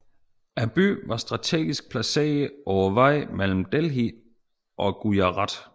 Byen var strategisk placeret på vejen mellem Delhi og Gujarat